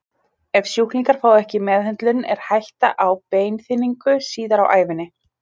Ef sjúklingar fá ekki meðhöndlun er hætta á beinþynningu síðar á ævinni.